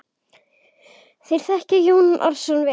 Þér þekkið Jón Arason vel.